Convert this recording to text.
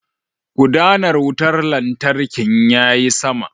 Gudanar wutar lantarkin yayi sama.